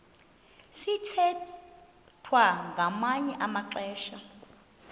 sithwethwa ngamanye amaxesha